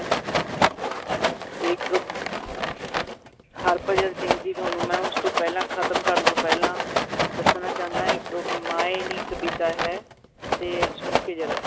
ਤੇ ਇੱਕ ਹਰਭਜਨ ਸਿੰਘ ਦੀ ਤੁਹਾਨੂੰ ਮੈਂ ਉਸ ਤੋਂ ਪਹਿਲਾਂ ਖਤਮ ਕਰਨ ਤੋਂ ਪਹਿਲਾਂ ਦੱਸਣਾ ਚਾਹੁੰਦਾ ਇੱਕ ਮਾਏਂ ਨੀ ਕਵਿਤਾ ਹੈ, ਤੇ ਸੁਣਕੇ ਜ਼ਰਾ